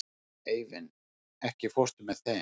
Eivin, ekki fórstu með þeim?